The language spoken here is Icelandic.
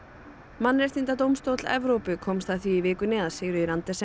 mannréttindadómstóll Evrópu komst að því í vikunni að Sigríður Andersen